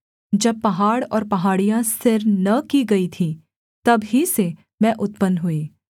जब पहाड़ और पहाड़ियाँ स्थिर न की गई थीं तब ही से मैं उत्पन्न हुई